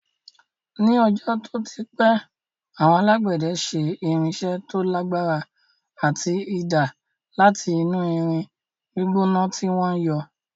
Ní ọjọ́ tó ti pẹ́, àwọn alágbẹ̀dẹ ṣe irinṣẹ́ tó lagbara ati idà láti inú irin gbígbóná tí wọ́n yọ́